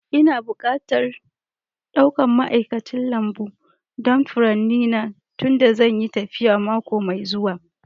Ina bukatar ɗaukan ma'aikacin lambu don furanni na tunda zan yi tafiya mako mai zuwa